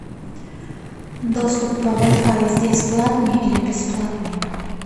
доступ по вай фаю здесь платный или бесплатный